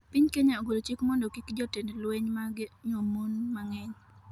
Piny Kenya ogolo chik mondo kik jotend lweny mage nyuom mon mang'eny